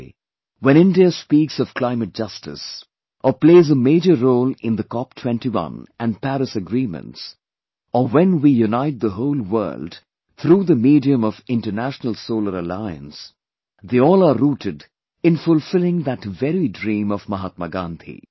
Today when India speaks of climate justice or plays a major role in the Cop21 and Paris agreements or when we unite the whole world through the medium of International Solar Alliance, they all are rooted in fulfilling that very dream of Mahatma Gandhi